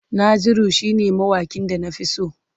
Naziru shine mawaƙin da na fi so.